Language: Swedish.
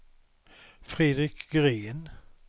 Fredrik Green